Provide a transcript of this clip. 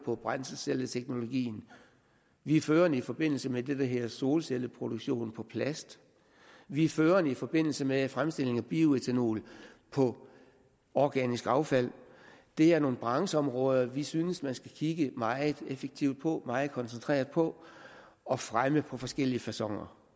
for brændselscelleteknologi vi er førende i forbindelse med det der hedder solcelleproduktion på plast vi er førende i forbindelse med fremstilling af bioætanol på organisk affald det er nogle brancheområder som vi synes man skal kigge meget effektivt og meget koncentreret på og fremme på forskellige faconer